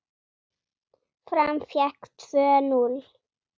Fram fékk tvö núll!